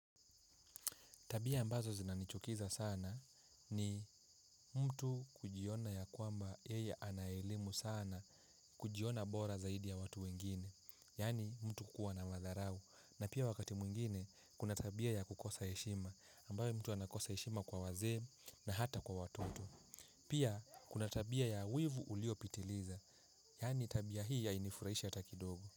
Tabia ambazo zinanichukiza sana ni mtu kujiona ya kwamba yeye ana elimu sana kujiona bora zaidi ya watu wengine. Yaani mtu kuwa na madharau. Na pia wakati mwingine kuna tabia ya kukosa heshima ambayo mtu anakosa heshima kwa wazee na hata kwa watoto. Pia kuna tabia ya wivu uliopitiliza. Yaani tabia hii hainifuraishi hata kidogo.